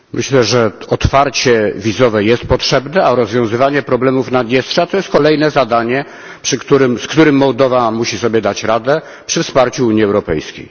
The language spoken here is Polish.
Myślę, że otwarcie wizowe jest potrzebne, a rozwiązywanie problemów Naddniestrza to jest kolejne zadanie, z którym Mołdowa musi sobie dać radę przy wsparciu Unii Europejskiej.